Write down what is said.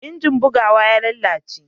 injin bugawa ya lalace